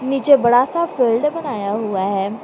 पीछे बड़ा सा फील्ड बनाया हुआ है।